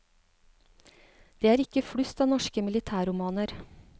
Det er ikke flust av norske militærromaer.